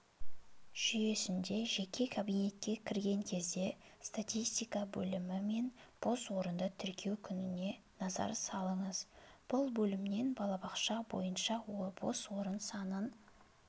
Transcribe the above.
жүйесінде жеке кабинетке кірген кезде статистика бөлімі мен бос орынды тіркеу күніне назар салыңыз бұл бөлімнен балабақша бойынша бос орын санын